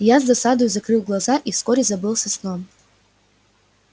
я с досадою закрыл глаза и вскоре забылся сном